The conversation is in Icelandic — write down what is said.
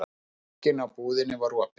Glugginn á íbúðinni var opinn.